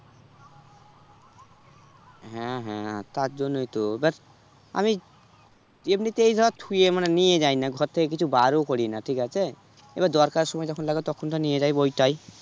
হ্যাঁ হ্যাঁ তার জন্যই তো এবার আমি এমনিতেই ধর থুয়ে মানে নিয়ে যাইনা ঘর থেকে কিছু বারও করিনা ঠিক আছে? এবার দরকারের সময় যখন লাগবে তখন তো নিয়ে যাই ওই টাই